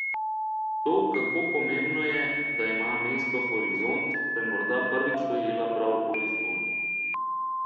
To, kako pomembno je, da ima mesto horizont, sem morda prvič dojela prav v Lizboni.